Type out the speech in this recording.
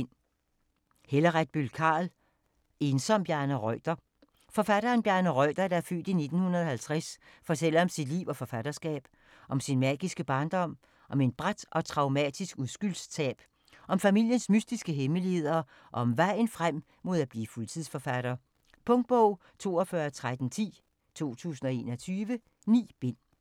Carl, Helle Retbøll: En som Bjarne Reuter Forfatteren Bjarne Reuter (f. 1950) fortæller om sit liv og forfatterskab. Om sin magiske barndom, om et brat og traumatisk uskyldstab, om familiens mystiske hemmeligheder og om vejen frem mod at blive fuldtidsforfatter. Punktbog 421310 2021. 9 bind.